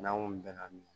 N'an ko bɛnna min